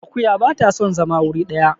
akuya ba ta son zama wuri daya